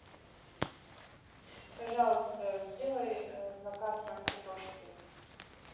пожалуйста сделай заказ на картошку